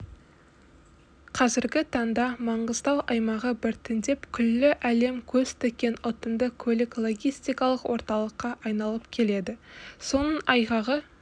қазіргі таңда маңғыстау аймағы біртіндеп күллі әлем көз тіккен ұтымды көлік-логистикалық орталыққа айналып келеді соның айғағы